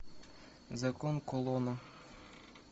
закон кулона